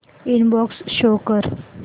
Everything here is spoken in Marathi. इनबॉक्स शो कर